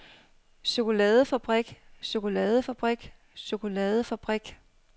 chokoladefabrik chokoladefabrik chokoladefabrik